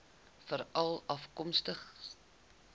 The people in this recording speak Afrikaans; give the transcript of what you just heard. veralafkomstig